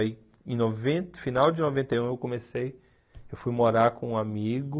Aí, em noventa, final de noventa e um, eu comecei, eu fui morar com um amigo...